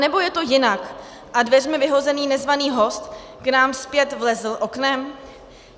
Anebo je to jinak a dveřmi vyhozený nezvaný host k nám zpět vlezl oknem?